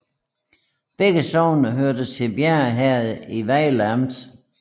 Begge sogne hørte til Bjerre Herred i Vejle Amt